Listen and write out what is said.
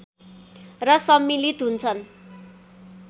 र सम्मिलित हुन्छन्